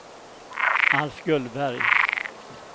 Alf Gullberg